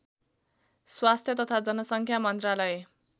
स्वास्थ्य तथा जनसङ्ख्या मन्त्रालय